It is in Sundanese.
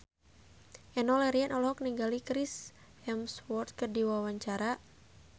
Enno Lerian olohok ningali Chris Hemsworth keur diwawancara